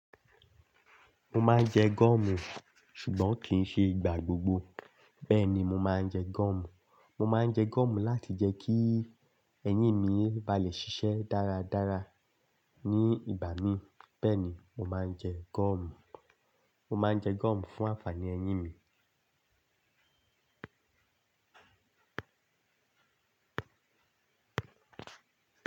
Mo máa ń jẹ gúọ̀mù, ṣùgbọ́n kì í ṣe ìgbà gbogbo. Bẹ́ẹ̀ ni, mo máa ń jẹ gúọ̀mù. Mo máa ń jẹ gúọ̀mù láti jẹ́ kí eyín mi ba lè ṣiṣẹ́ dáradára ní ibà mí. Bẹ́ẹ̀ ni, mo máa ń jẹ gúọ̀mù. Mo máa ń jẹ gúọ̀mù fún àǹfààní eyín mi.